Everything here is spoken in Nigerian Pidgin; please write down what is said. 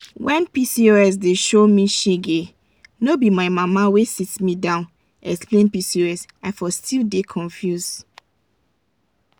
when pcos dey show me shegeif no be my mama wey sit me down explain pcos i for still dey confuse.